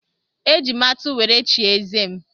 E ji m atụ were chie eze m.